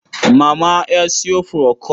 Mama ya sayo furokol.